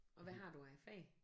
Og hvad har du af fag?